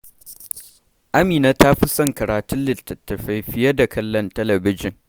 Amina ta fi son karatun litattafai fiye da kallon talabijin.